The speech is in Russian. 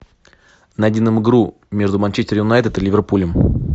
найди нам игру между манчестер юнайтед и ливерпулем